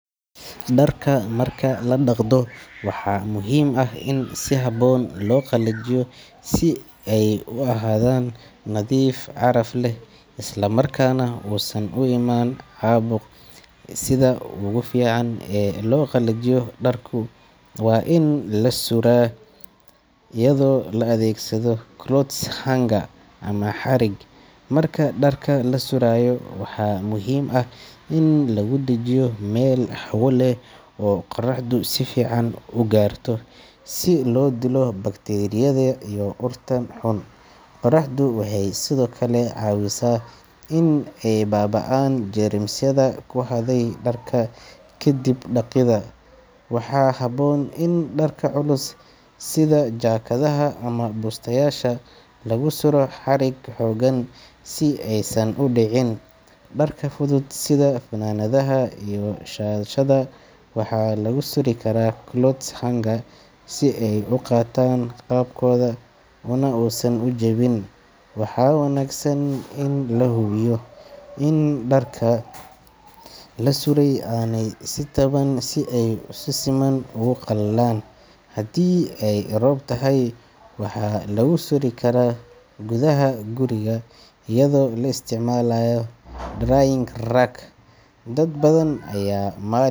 Dharka marka la dhaqdo waxaa muhiim ah in si habboon loo qalajiyo si ay u ahaadaan nadiif, caraf leh isla markaana uusan u imaan caabuq. Sida ugu fiican ee loo qalajiyo dharku waa in la suraa, iyadoo loo adeegsado clothes hanger ama xarig. Marka dharka la surayo waxaa muhiim ah in lagu dhejiyo meel hawo leh oo qoraxdu si fiican u gaarto, si loo dilo bakteeriyada iyo urta xun. Qoraxdu waxay sidoo kale caawisaa in ay baaba'aan jeermisyada ku hadhay dharka kadib dhaqidda. Waxaa habboon in dharka culus sida jaakadaha ama bustayaasha lagu suraa xarig xooggan si aysan u dhicin. Dharka fudud sida funaanadaha iyo shaadhadhka waxaa lagu suri karaa clothes hanger si ay u qaataan qaabkooda unausan u jabin. Waxaa wanaagsan in la hubiyo in dharka la suray aanay is taaban si ay si siman ugu qalalaan. Haddii ay roob tahay, waxaa lagu suri karaa gudaha guriga iyadoo la isticmaalayo drying rack. Dad badan ayaa maalin.